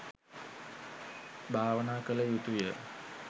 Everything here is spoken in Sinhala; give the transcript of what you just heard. භාවනා කළ යුතුය